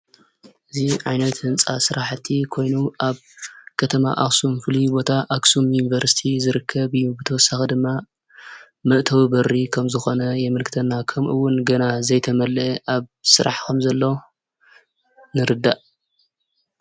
እዚ ዓይነት ህንፃ ስራሕቲ ኮይኑ ኣብ ከተማ ኣክሱም ፍሉይ ቦታ ኣክሱም ዩኒቨርስቲ ዝርከብ እዩ። ብተወሳኺ ድማ መእተዊ በሪ ከም ዝኾነ የምልክተና ከምኡ እውን ገና ዘይተመለአ ኣብ ስራሕ ከም ዘሎ ንርዳእ።